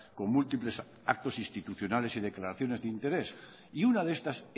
con múltiples actos institucionales y declaraciones de interés y una de estas